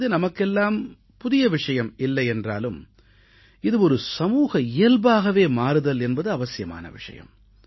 இது நமக்கெல்லாம் புதிய விஷயம் இல்லையென்றாலும் இது ஒரு சமூக இயல்பாகவே மாறுதல் என்பது அவசியமான விஷயம்